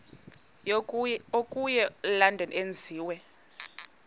okuya elondon enziwe